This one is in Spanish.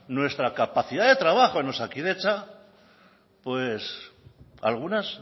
nuestra capacidad de trabajo en osakidetza algunas